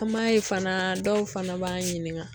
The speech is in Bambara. An m'a ye fana dɔw fana b'an ɲininga